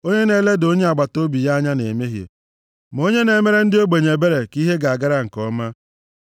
Onye na-eleda onye agbataobi ya anya na-emehie, ma onye na-emere ndị ogbenye ebere ka ihe ga-agara nke ọma.